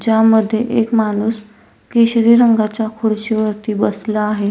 ज्यामध्ये एक माणूस केशरी रंगाच्या खुर्ची वरती बसला आहे.